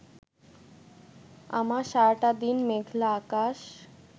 আমার সারাটা দিন মেঘলা আকাশ